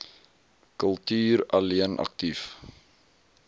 kultuur alleen aktief